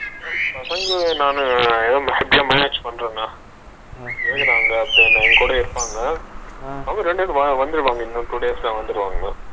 பசங்க நானு maximum ஏதோ manage பண்றேன்னா, இருக்குறாங்க இப்ப எங்குட இருப்பாங்க இன்னும் ரெண்டுநாள் two days ல வந்துருவாங்கண்ணா